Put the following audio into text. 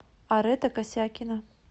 арета косякина